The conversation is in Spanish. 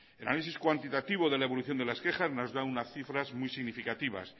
en análisis cuantitativo de la evolución de las quejas nos da unas cifras muy significativas